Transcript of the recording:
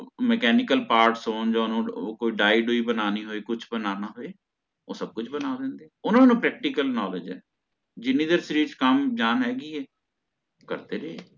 mechnical parts ਜਾ ਓਓ ਓਹਨੂੰ ਕੋਈ ਡਾਇ ਦੁਇ ਬਣਾਨੀ ਹੋਈ ਕੁਛ ਬਣਨਾ ਹੋਏ ਓਹ ਸਬ ਕੁਛ ਬਣਾ ਦਿੰਦੇ ਹੈ ਓਹਨਾਂ ਨੂੰ practical knowledge ਹੈ ਜਿੰਨੀ ਦੇਰ ਸ਼ਰੀਰ ਚ ਜਾਨ ਹੈਗੀ ਹੈ ਕਰਦੇ ਰਹੇ